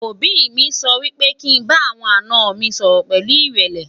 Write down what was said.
òbí mí sọ wípé kí n bá àwọn àná mi sọrọ pẹlu irẹlẹ